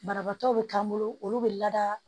Banabaatɔ be k'an bolo olu bɛ lada